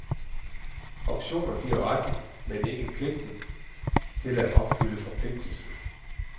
Optioner giver retten, men ikke pligten til at opfylde forpligtigelsen.